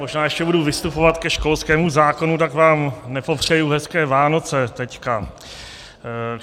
Možná ještě budu vystupovat ke školskému zákonu, tak vám nepopřeji hezké Vánoce teď.